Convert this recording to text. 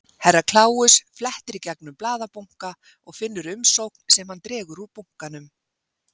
Herra Kláus flettir í gegnum blaðabunka og finnur umsókn sem hann dregur úr bunkanum.